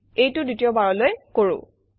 এইটো দ্বিতীয়বাৰলৈ কৰোঁ